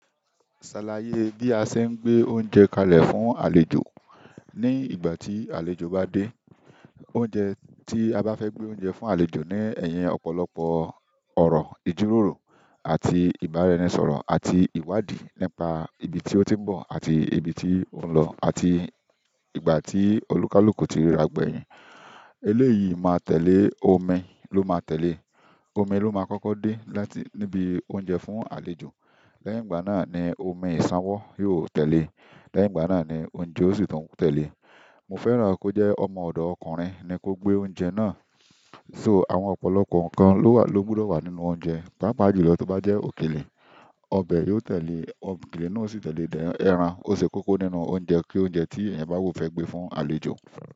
Sàlàyé bí ṣe ń gbé oúnjẹ kalẹ̀ fún àlejò, ni ìgbà tí àlejò bá dé oúnjẹ ti a bá fẹ gbé oúnjẹ fún àlejò ni ẹyìn ọ̀pọ̀lọpọ̀ ọ̀rọ̀ ìjíròrò àti ìbáraẹnisọ̀rọ̀ àti ìwádìí nípa ibi tí ó ti ń bọ̀ àti ibi tí ó ń lọ àti ìgbà tí olùkálùkù ti ríra gbẹ̀yìn. Eléyìí máa tẹ̀lé, omi ló máa tẹ̀lé. Omi ló máa kọ́kọ́ dé láti níbi oúnjẹ fún àlejò. Lẹ́yìn ìgbà náà ní omí iṣanwọ yóò tẹlé. Lẹ́yìn ìgbà náà ni oúnjẹ ó sì tún tẹ̀lé. Mo fẹ́ràn kó jẹ́ ọmọ ọ̀dọ̀ ọkùnrin ni kó gbé oúnjẹ náà. So àwọn ọ̀pọ̀lọpọ̀ nǹkan ló wà ló gbọdọ̀ wà nínú oúnjẹ. Pápá julọ tó bá jẹ́ òkèlè, ọbẹ̀ yóò tẹ̀lé, òkèlè náà sì tẹ̀lé dẹń ẹran. O ṣe kókó nínú oúnjẹ kí oúnjẹ tí èèyàn bá ò fẹ́ gbé fún àlejò.